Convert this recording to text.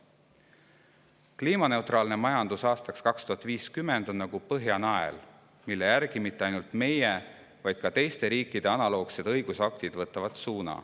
Kliimaneutraalse majanduseni aastaks 2050 on nagu Põhjanael, mis ei näita suunda mitte ainult meie, vaid ka teiste riikide analoogsetele õigusaktidele.